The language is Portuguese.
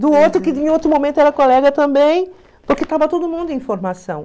Do outro, que em outro momento era colega também, porque estava todo mundo em formação.